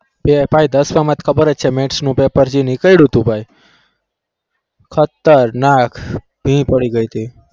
દસ માં ખબર છે max પેપર જે નીક્દેતું ને ભાઈ ખાત્ર નાક ભીર પડી ગઈ ટી